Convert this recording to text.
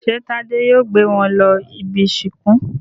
Ṣé Tádé yóò gbé wọn lọ ibi-ìsìnkú?